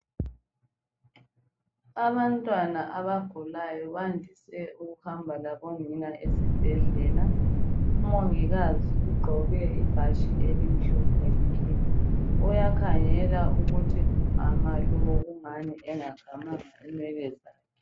Abantwana abagulayo bandise ukuhamba labonina esibhedlela umongikazi ugqoke ibhatshi elimhlophe nke uyakhangela ukuthi umama lo kungani engakamanga inwele zakhe.